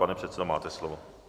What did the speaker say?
Pane předsedo, máte slovo.